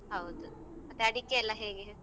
ಹೌದು ಮತ್ತೆ ಅಡಿಕೆಯೆಲ್ಲ ಹೇಗೆ.